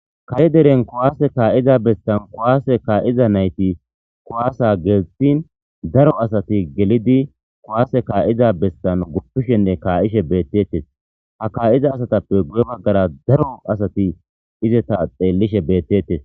Kare deren kuwase ka'iza bessan kuwase ka'iza nayti kuwasa gelthin daro asati gelidi kuwasa ka'iza bessan gupishene ka'ishe beetetes ha ka'iza asatappe daro asati guye bagara ista xeelishe beeteyes.